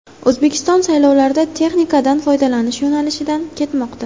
O‘zbekiston saylovlarda texnikadan foydalanish yo‘nalishidan ketmoqda.